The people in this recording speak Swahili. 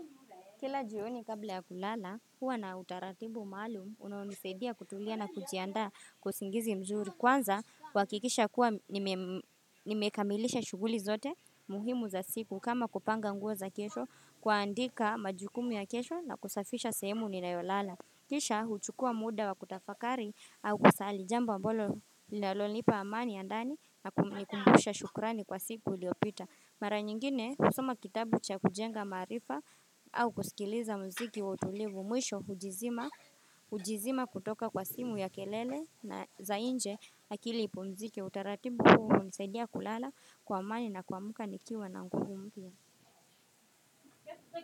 Kila jioni kabla ya kulala, huwa na utaratibu maalum, unaonisaidia kutulia na kujianda kwa usingizi mzuri. Kwanza, huhakikisha kuwa nimekamilisha shuguli zote muhimu za siku kama kupanga nguo za kesho kuaandika majukumu ya kesho na kusafisha semu ninayolala. Kisha, huchukua muda wa kutafakari au kusali jambo ambalo lalolipa amani andani na kumbusha shukurani kwa siku iliopita. Mara nyingine usuma kitabu cha kujenga maarifa au kusikiliza mziki wa utulivu mwisho ujizima kutoka kwa simu ya kelele na za inje na akili ipumziki utaratibu huu nisadia kulala kwa amani na kwa muka nikiwa na mkugumbia.